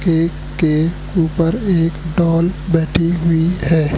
एक के ऊपर एक डॉल बैठी हुई है।